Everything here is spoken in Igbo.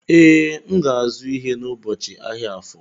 Ee, M ga-azụ ihe n'ubochi ahịa Afọ.